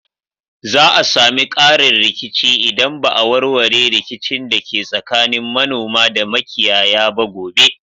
Za a sami ƙarin rikici idan ba a warware rikicin da ke tsakanin manoma da makiyaya ba gobe